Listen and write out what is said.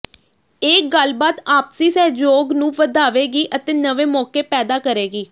ਇਹ ਗੱਲਬਾਤ ਆਪਸੀ ਸਹਿਯੋਗ ਨੂੰ ਵਧਾਵੇਗੀ ਅਤੇ ਨਵੇਂ ਮੌਕੇ ਪੈਦਾ ਕਰੇਗੀ